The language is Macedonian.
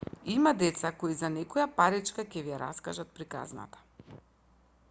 има деца кои за некоја паричка ќе ви ја раскажат приказната